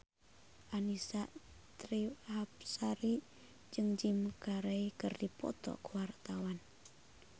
Annisa Trihapsari jeung Jim Carey keur dipoto ku wartawan